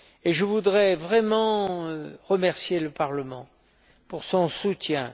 Je voudrais vraiment remercier le Parlement pour son soutien.